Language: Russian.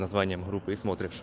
названием группы и смотришь